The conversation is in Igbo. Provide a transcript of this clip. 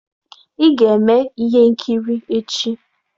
Ị ga-eme ihe nkiri echi.